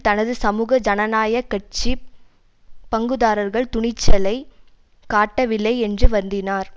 தனது சமூக ஜனநாயக கட்சி பங்குதாரர்கள் துணிச்சலை காட்டவில்லை என்று வருந்தினார்